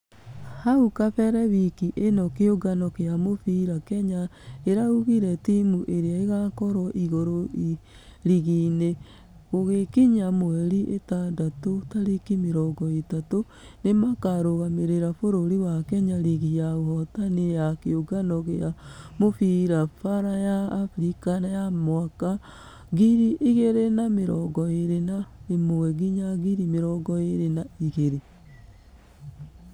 Hau kabere wiki ĩno kĩũngano gĩa mũbira kenya ĩraugire timũ ĩrĩa ĩgakorwo igũrũ rigi -inĩ gũgĩkinya mweri itandatũ tarĩki mĩrongo ĩtatũ. Nĩmakarũgamĩrĩra bũrũri wa kenya rigi ya ahotani ya kĩũngano gĩa mũbira baara ya africa ya mwaka ngiri igĩrĩ na mĩrongo ĩrĩ na ĩmwe nginya mĩrongo ĩrĩ na igĩrĩ.